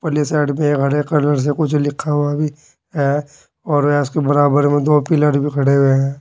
ले साइड पे एक हरे कलर से कुछ लिखा हुआ भी है और के बराबर में दो पिलर भी खड़े हुए है।